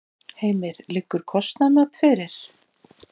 Heimir: Liggur kostnaðarmat fyrir?